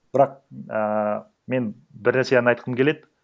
бірақ ііі мен бір нәрсе ғана айтқым келеді